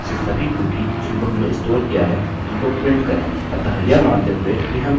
इस कमांड को इस्तेमाल करते हुए हमने यह भी सीखा कि कैसे सभी कुकीcookie जिनको हमने स्टोर किया है उनको प्रिंट करें